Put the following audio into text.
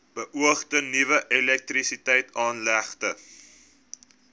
beoogde nuwe elektrisiteitsaanlegte